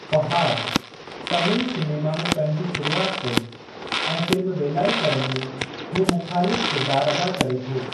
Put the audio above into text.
Fahadh Tamil cinema में पंहिंजी शुरूआति कई ऐं फ़िल्म वेलाइकरन में हू मुख़ालिफ़ किरिदारु अदा करे थो।